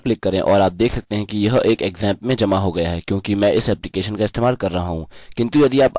resend पर click करें और आप देख सकते हैं कि यह एक xampp में जमा हो गया है क्योंकि मैं इस एप्लिकेशन का इस्तेमाल कर रहा हूँ